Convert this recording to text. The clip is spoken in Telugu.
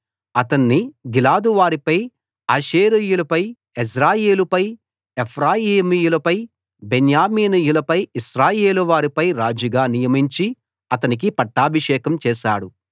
అతణ్ణి గిలాదు వారిపై ఆషేరీయుల పై యెజ్రెయేలు పై ఎఫ్రాయిమీయులపై బెన్యామీనీయులపై ఇశ్రాయేలు వారి పై రాజుగా నియమించి అతనికి పట్టాభిషేకం చేశాడు